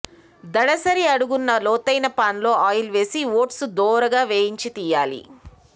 దళసరి అడుగున్న లోతైన పాన్లో ఆయిల్ వేసి ఓట్స్ దోరగా వేగించి తీసెయ్యాలి